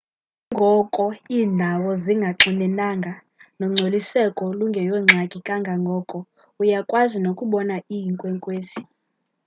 nanjengoko iindawo zingaxinenanga nongcoliseko lungeyongxaki kangoko uya kukwazi nokubona iinkwenkwezi